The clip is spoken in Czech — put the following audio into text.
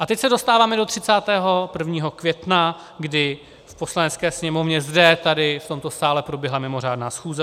A teď se dostáváme do 31. května, kdy v Poslanecké sněmovně, zde, tady, v tomto sále proběhla mimořádná schůze.